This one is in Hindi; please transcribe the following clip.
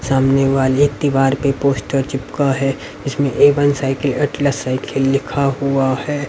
सामने वाली एक दीवार पर पोस्टर चिपका है। इसमें A one cycle Atlas cycle लिखा हुआ है।